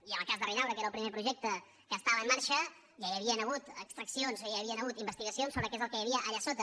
i en el cas de ridaura que era el primer projecte que estava en marxa ja hi havien hagut extraccions ja hi havien hagut investigacions sobre què és el que hi havia allà sota